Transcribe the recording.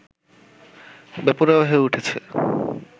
বেপরোয়া হয়ে উঠেছে